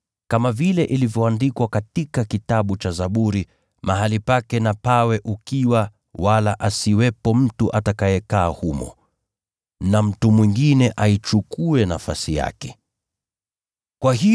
“Kama vile ilivyoandikwa katika kitabu cha Zaburi, “ ‘Mahali pake na pawe ukiwa, wala asiwepo yeyote atakayeishi humo,’ na, “ ‘Mtu mwingine aichukue nafasi yake ya uongozi.’